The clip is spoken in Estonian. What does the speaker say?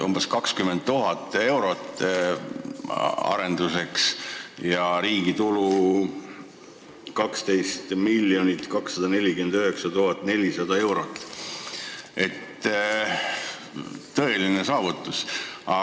Umbes 20 000 eurot arenduskuludeks ja 12 249 400 eurot riigi tuludesse – tõeline saavutus!